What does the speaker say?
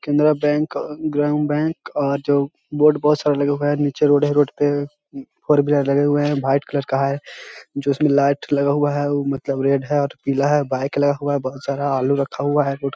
Canara bank अ ग्रामीण bank और जो बोर्ड बहोत सारे लगे हुए हैं और नीचे रोड है और रोड पे फोर व्हीलर लगे हुए हैं व्हाइट कलर का है जो उसमें लाइट लगा हुआ है उ मतलब रेड है और पीला है और बाइक लगा हुआ है बहोत सारा आलू रखा हुआ है रोड --